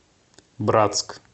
братск